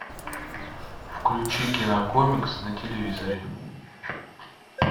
включи кинокомикс на телевизоре